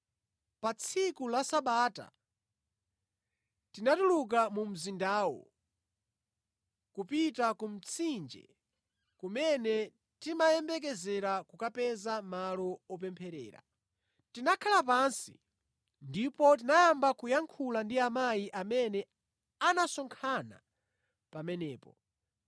Pa tsiku la Sabata tinatuluka mu mzindawo kupita ku mtsinje kumene timayembekezera kukapeza malo opempherera. Tinakhala pansi ndipo tinayamba kuyankhula ndi amayi amene anasonkhana pamenepo.